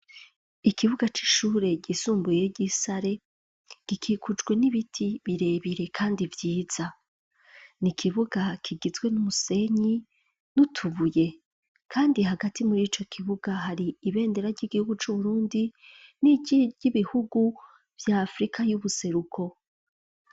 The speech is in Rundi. ikibuga c'ishure ryisumbuye ry'isare gikikujwe n'ibiti birebire kandi vyiza ni kibuga kigizwe n'umusenyi nutubuye kandi hagati muri ico kibuga hari ibendera ry'igihugu c'uburundi n'i ry'ibihugu vya afrika y'ubuseruko.